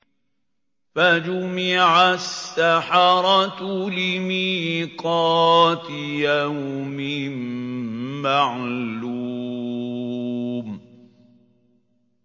فَجُمِعَ السَّحَرَةُ لِمِيقَاتِ يَوْمٍ مَّعْلُومٍ